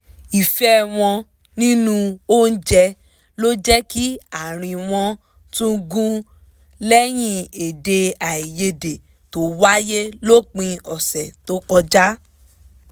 ìfẹ́ wọ́n nínú oúnjẹ ló jẹ́ kí àárín wọn tún gún lẹ́yìn èdè àìyedè tó wáyé lópin ọ̀sẹ̀ tó kọjá